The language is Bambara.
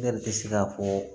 Ne de bɛ se ka fɔ